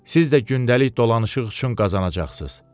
Siz də gündəlik dolanışıq üçün qazanacaqsınız.